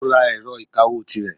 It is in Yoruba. Ó ra ẹ̀rọ ìkawó tirẹ̀.